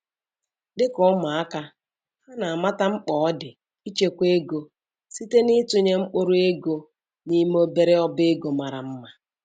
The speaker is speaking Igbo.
Dịka ụmụaka, ha na amata mkpa ọ dị ichekwa ego site n'itụnye mkpụrụ ego n'ime obere ọba ego mara mma.